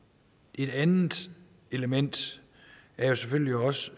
et andet element er jo selvfølgelig også